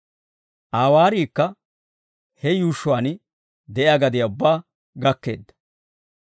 Aa waariikka he yuushshuwaan de'iyaa gadiyaa ubbaa gakkeedda.